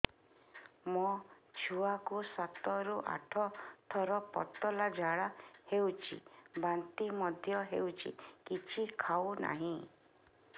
ମୋ ଛୁଆ କୁ ସାତ ରୁ ଆଠ ଥର ପତଳା ଝାଡା ହେଉଛି ବାନ୍ତି ମଧ୍ୟ୍ୟ ହେଉଛି କିଛି ଖାଉ ନାହିଁ